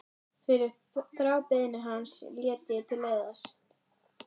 Fyrir þrábeiðni hans lét ég til leiðast.